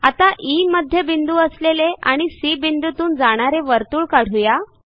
आता ई मध्यबिंदू असलेले आणि सी बिंदूतून जाणारे वर्तुळ काढू या